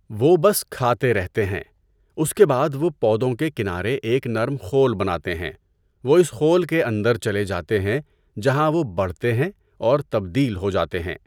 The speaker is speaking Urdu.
وہ بس کھاتے رہتے ہیں، اس کے بعد وہ پودوں کے کنارے ایک نرم خول بناتے ہیں، وہ اس خول کے اندر چلے جاتے ہیں جہاں وہ بڑھتے ہیں اور تبدیل ہو جاتے ہیں۔